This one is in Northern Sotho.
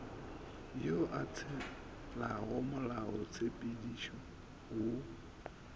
yo a tshelago molaotshepedišo wo